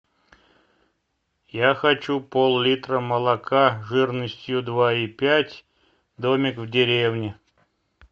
я хочу поллитра молока жирностью два и пять домик в деревне